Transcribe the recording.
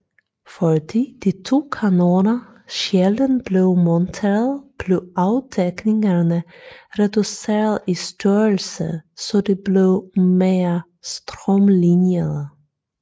Fordi de to kanoner sjældent blev monteret blev afdækningerne reduceret i størrelse så de blev mere strømliniede